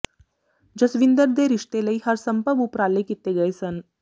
ਜਸਵਿੰਦਰ ਦੇ ਰਿਸ਼ਤੇ ਲਈ ਹਰ ਸੰਭਵ ਉਪਰਾਲੇ ਕੀਤੇ ਗਏ ਸਨ